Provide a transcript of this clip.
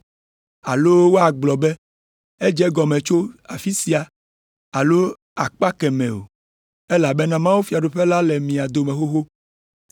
alo woagblɔ be, ‘Edze egɔme tso afi sia’ alo ‘Ele akpa kemɛ o,’ elabena mawufiaɖuƒe la le mía dome xoxo.”